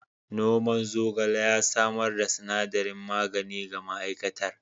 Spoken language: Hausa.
Noman zogale ya samar da sinadarin magani ga ma'aikatar.